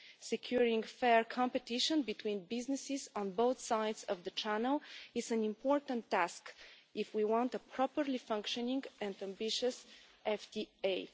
Securing fair competition between businesses on both sides of the channel is an important task, if we want a properly functioning and ambitious FTA.